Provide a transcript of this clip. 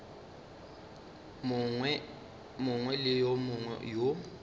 mongwe le yo mongwe yo